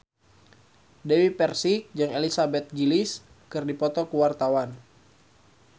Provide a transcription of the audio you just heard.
Dewi Persik jeung Elizabeth Gillies keur dipoto ku wartawan